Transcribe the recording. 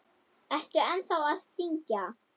Ertu ennþá að syngja?